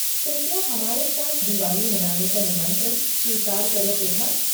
कृपया हमारे साथ दिवाली मनाने का निमंत्रण स्वीकार करो पृथा।